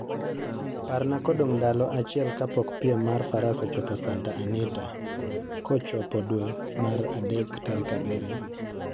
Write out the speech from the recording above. Parna kodong' ndalo achiel kapok piem mar Faras ochopo Santa Anita kochopo dwe mar adek tarik abirio